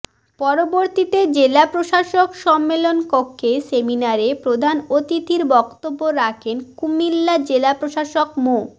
পরবর্তীতে জেলা প্রশাসক সম্মেলন কক্ষে সেমিনারে প্রধান অতিথির বক্তব্য রাখেন কুমিল্লা জেলা প্রশাসক মো